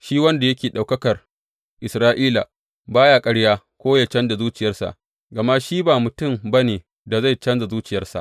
Shi wanda yake Ɗaukakar Isra’ila ba ya ƙarya ko yă canja zuciyarsa, gama shi ba mutum ba ne da zai canja zuciyarsa.